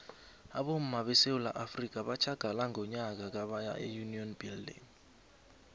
abomma besewula afrika batjhagala ngonyaka ka baya eunion building